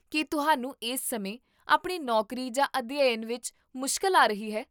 ਕੀ ਤੁਹਾਨੂੰ ਇਸ ਸਮੇਂ ਆਪਣੀ ਨੌਕਰੀ ਜਾਂ ਅਧਿਐਨ ਵਿੱਚ ਮੁਸ਼ਕਲ ਆ ਰਹੀ ਹੈ?